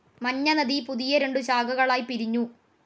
മഞ്ഞനദി പുതിയ രണ്ടു ശാഖകളായി പിരിഞ്ഞു.